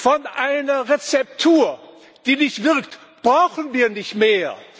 Von einer Rezeptur, die nicht wirkt, brauchen wir nicht mehr.